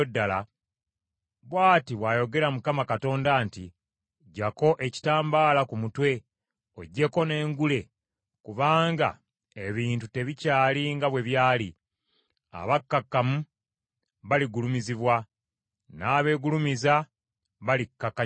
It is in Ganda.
bw’ati bw’ayogera Mukama Katonda nti, Ggyako ekitambala ku mutwe, oggyeko n’engule, kubanga ebintu tebikyali nga bwe byali. Abakkakkamu baligulumizibwa, n’abeegulumiza balikkakkanyizibwa.